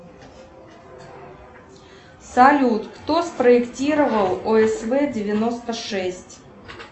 салют кто спроектировал осв девяносто шесть